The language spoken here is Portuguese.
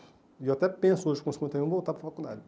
E eu até penso hoje, com cinquenta e um, em voltar para a faculdade.